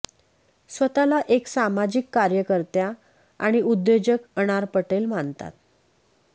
स्वतःला एक सामाजिक कार्यकत्या आणि उद्योजक अनार पटेल मानतात